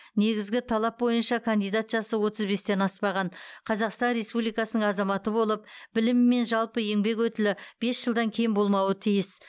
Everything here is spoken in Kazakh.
негізгі талап бойынша кандидат жасы отыз бестен аспаған қазақстан республикасының азаматы болып білімі мен жалпы еңбек өтілі бес жылдан кем болмауы тиіс